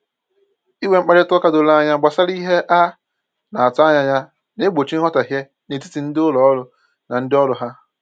Inwe mkparịta ụka doro anya gbasara ihe a na-atụ anya ya na-egbochi nghọtahie n'etiti ndị ụlọ ọrụ na ndị ọrụ ha